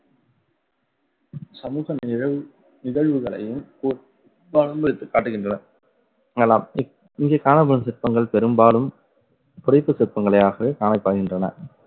சமூக நிழவு~ நிகழ்வுகளையும் வைத்து காட்டுகின்றன. இங்கு காணப்படும் சிற்பங்கள் பெரும்பாலும் புடைப்பு சிற்பங்களாகவே காணப்படுகின்றன